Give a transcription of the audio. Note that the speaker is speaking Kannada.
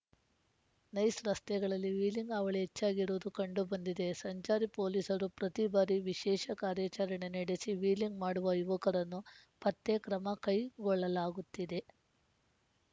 ನೈಸ್‌ ರಸ್ತೆಗಳಲ್ಲಿ ವ್ಹೀಲಿಂಗ್‌ ಹಾವಳಿ ಹೆಚ್ಚಾಗಿರುವುದು ಕಂಡು ಬಂದಿದೆ ಸಂಚಾರ ಪೊಲೀಸರು ಪ್ರತಿಬಾರಿ ವಿಶೇಷ ಕಾರ್ಯಾಚರಣೆ ನಡೆಸಿ ವ್ಹೀಲಿಂಗ್‌ ಮಾಡುವ ಯುವಕರನ್ನು ಪತ್ತೆ ಕ್ರಮ ಕೈ ಗೊಳ್ಳಲಾಗುತ್ತಿದೆ